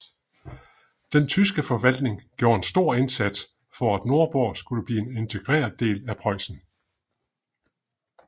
Den tyske forvaltning gjorde en stor indsats for at Nordborg skulle blive en integreret del af Preussen